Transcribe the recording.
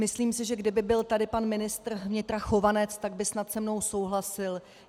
Myslím si, že kdyby tady byl pan ministr vnitra Chovanec, tak by snad se mnou souhlasil.